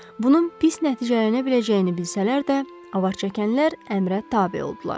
Bunun pis nəticələnə biləcəyini bilsələr də, avaçəkənlər əmrə tabe oldular.